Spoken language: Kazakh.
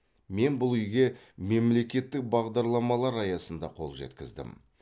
мен бұл үйге мемлекеттік бағдарламалар аясында қол жеткіздім